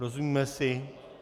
Rozumíme si?